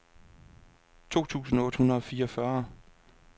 to tusind otte hundrede og fireogfyrre